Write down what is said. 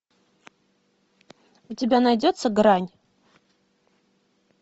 у тебя найдется грань